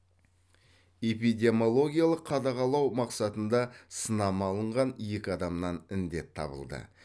эпидемиологиялық қадағалау мақсатында сынама алынған екі адамнан індет табылды